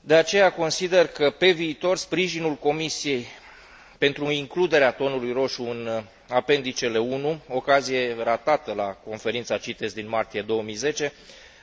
De aceea, consider că, pe viitor, sprijinul Comisiei pentru includerea tonului roșu în Anexa I, ocazie ratată la Conferința CITES din martie 2010,